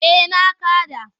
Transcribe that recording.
Eh na kaɗa.